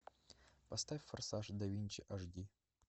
поставь форсаж да винчи аш ди